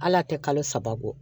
Hal'a tɛ kalo saba bɔ